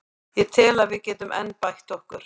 Ég tel að við getum enn bætt okkur.